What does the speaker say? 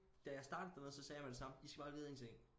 Da jeg startede dernede så sagde jeg med det samme I skal bare vide én ting